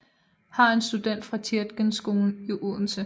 Har er student fra Tietgenskolen i Odense